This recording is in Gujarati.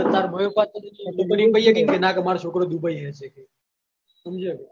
તારા મમ્મી પપ્પા ને એમ થઇ જાય કે ના ક મારો છોકરો dubai હે કે સમજ્યો કે